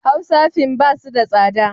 Hausa fin ba su da tsada.